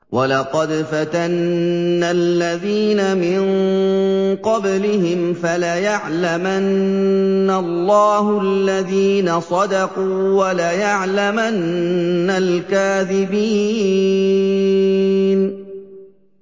وَلَقَدْ فَتَنَّا الَّذِينَ مِن قَبْلِهِمْ ۖ فَلَيَعْلَمَنَّ اللَّهُ الَّذِينَ صَدَقُوا وَلَيَعْلَمَنَّ الْكَاذِبِينَ